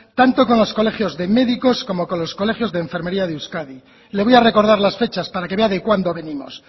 tanto con los colegios de médicos como con los colegios de enfermería de euskadi le voy a recordar las fechas para que vea de cuándo venimos